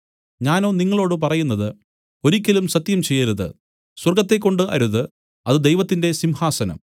ഞാനോ നിങ്ങളോടു പറയുന്നത് ഒരിക്കലും സത്യം ചെയ്യരുത് സ്വർഗ്ഗത്തെക്കൊണ്ട് അരുത് അത് ദൈവത്തിന്റെ സിംഹാസനം